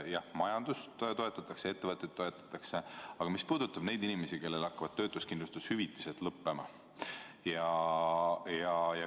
Jah, majandust toetatakse, ettevõtteid toetatakse, aga mis saab nendest inimestest, kellel hakkavad töötuskindlustushüvitised lõppema?